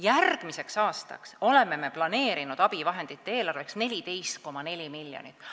Järgmiseks aastaks oleme planeerinud abivahendite eelarveks 14,4 miljonit.